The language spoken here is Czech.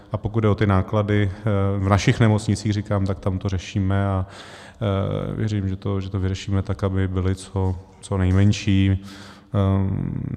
A pokud jde o ty náklady v našich nemocnicích, říkám, tak tam to řešíme, a věřím, že to vyřešíme tak, aby byly co nejmenší.